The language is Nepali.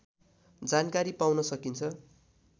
जानकारी पाउन सकिन्छ